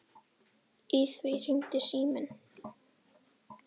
Í því hringdi síminn.